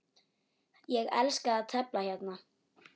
Ég elska að tefla hérna.